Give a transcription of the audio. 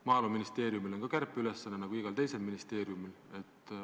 Maaeluministeeriumil on ka kärpeülesanne nagu igal teisel ministeeriumil.